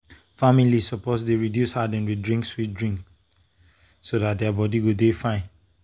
families suppose reduce how dem dey drink sweet drink so dat their body go dey fine.